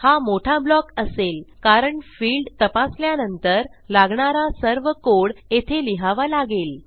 हा मोठा ब्लॉक असेल कारण फिल्ड तपासल्यानंतर लागणारा सर्व कोड येथे लिहावा लागेल